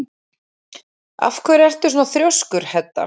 Af hverju ertu svona þrjóskur, Hedda?